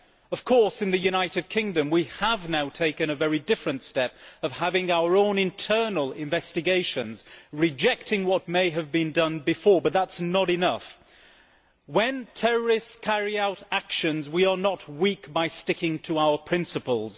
Of course, in the United Kingdom we have now taken a very different step of having our own internal investigations, rejecting what may have been done before, but that is not enough. When terrorists carry out actions, we are not weak by sticking to our principles.